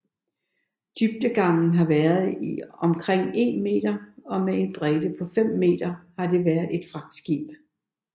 Dybdegangen har været omkring 1 meter og med en bredde på 5 m har det været et fragtskib